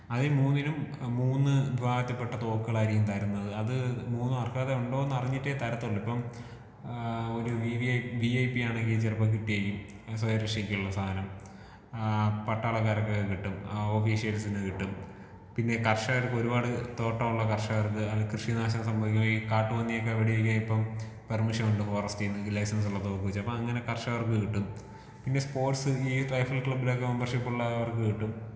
അത് മൂന്നിനും മൂന്ന് വിഭാഗത്തിൽ പെട്ട തോക്കുകളായിരിക്കും തരുന്നത്. അത് മൂന്നും അർഹത ഉണ്ടോ എന്ന് അറിഞ്ഞിട്ടേ തരത്തൊള്ളു. ഇപ്പം ഏഹ് ഒരു വി ഐ പി ആണെങ്കി ചെലപ്പൊ കിട്ടിയിരിക്കും കാരണം സ്വയ രക്ഷക്കുള്ള സാനം. ആഹ് പട്ടാളക്കാർക്ക് ഒക്കെ കിട്ടും.ആഹ് ഓഫീസർസിന് കിട്ടും, പിന്നെ കർഷകർക്ക് ഒരുപാട് തോട്ടമുള്ള കർഷകർക്ക് അല്ലെങ്കി കൃഷി നാശം സംഭവിക്കുന്ന ഈ കാട്ടു പന്നിയൊക്കെ വെടി വെക്കാൻ ഇപ്പം പെർമിഷൻ ഉണ്ട് ഫോറെസ്റ്റിന്ന്. ഈ ലൈസൻസ് ഉള്ള തോക്ക് വെച്ച്. അപ്പൊ അങ്ങനെ കർഷകർക്ക് കിട്ടും പിന്നെ സ്പോർട്സ് ഈ റൈഫൾ ക്ലബ്ബിലൊക്കെ മെമ്പർഷിപ് ഉള്ളവർക്ക് കിട്ടും.